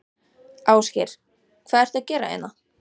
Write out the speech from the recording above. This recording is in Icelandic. Ásgeir: Hvað ertu að gera hérna?